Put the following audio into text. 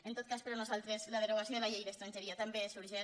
en tot cas per nosaltres la derogació de la llei d’estran·geria també és urgent